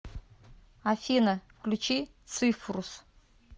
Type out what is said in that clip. афина включи цифрус